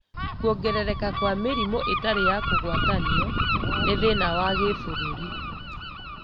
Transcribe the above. Kuongerereka kwa mĩrimũ ĩtarĩ ya kũgwatanio nĩ thĩna wa gĩbũrũri